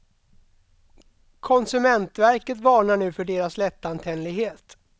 Konsumentverket varnar nu för deras lättantändlighet.